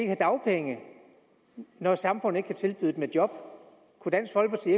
have dagpenge når samfundet ikke kan tilbyde dem et job kunne dansk folkeparti